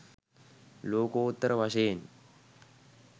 ලෝකෝත්තර වශයෙන්